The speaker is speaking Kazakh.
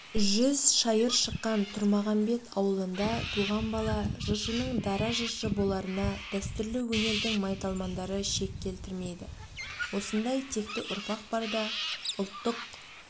жүз шайыр шыққан тұрмағамбет ауылында туған бала жыршының дара жыршы боларына дәстүрлі өнердің майталмандары шек келтірмейді осындай текті ұрпақ барда ұлттық